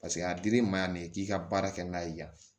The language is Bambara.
Paseke a dir'i ma yan nin ye k'i ka baara kɛ n'a ye yan